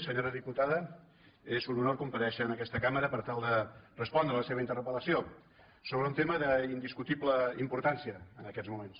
senyora diputada és un honor comparèixer en aquesta cambra per tal de respondre la seva interpel·lació sobre un tema d’indis·cutible importància en aquests moments